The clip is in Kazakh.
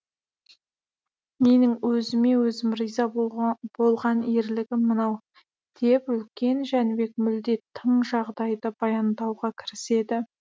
менің өзіме өзім риза болған ерлігім мынау деп үлкен жәнібек мүлде тың жағдайды баяндауға кіріседі